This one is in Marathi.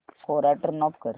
कोरा टर्न ऑफ कर